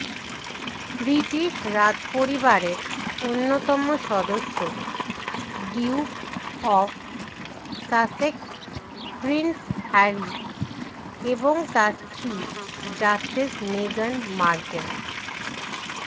British রাজপরিবারের অন্যতম সদস্য duke of Sussex prince Harry এবং তার স্ত্রী ডাচেস মেগান মার্কেল